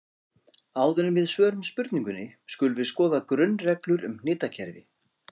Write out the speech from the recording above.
Áður en við svörum spurningunni skulum við skoða grunnreglur um hnitakerfi.